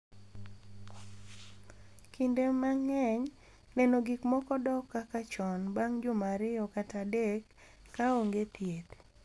Kinde mang’eny, neno gik moko dok kaka chon bang’ juma 2 kata 3 ka onge thieth.